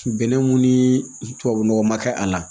Bɛnɛ mun ni tubabunɔgɔ ma kɛ a la